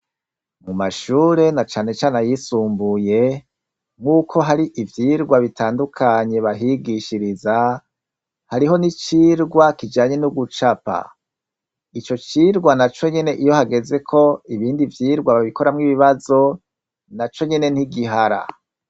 Mumashure na cane cane ayisumbuye, nkuko hari ivyigwa bitandukanye bahigishiriza , hariho n' icigwa kijanye no gucapa , ico cigwa naco nyene iyo hageze ko ibindi vyigwa babikoramwo ibibazo naco nyene ni igihara.